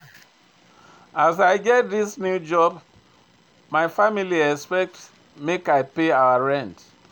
As I get dis new job, my family dey expect make I pay our rent.